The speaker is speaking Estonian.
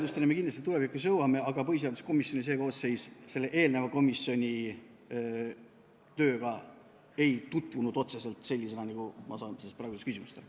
Järeldusteni me kindlasti tulevikus jõuame, aga põhiseaduskomisjoni see koosseis eelneva komisjoni tööga otseselt nii, nagu ma praegu küsimusest aru sain, ei tutvunud.